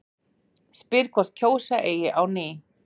Spyr hvort kjósa eigi á ný